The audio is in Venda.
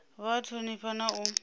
vha a thonifha na u